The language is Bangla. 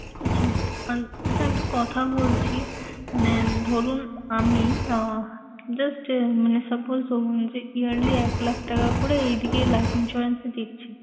আচ্ছা আহ আচ্ছা আমি একটু কথা বলছি। মানে ধরুন আমি আহ just আহ মানে suppose ধরুন যে yearly এক লাখ টাকা করে এইদিকে life insurance এ দিচ্ছি।